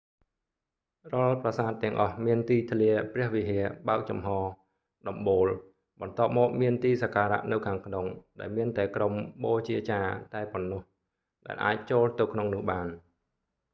រាល់ប្រាសាទទាំងអស់មានទីធ្លាព្រះវិហារបើកចំហដំបូលបន្ទាប់មកមានទីសក្ការៈនៅខាងក្នុង ដែលមានតែក្រុមបូជាចារ្យតែប៉ុណ្ណោះដែលអាចចូលទៅក្នុងនោះបាន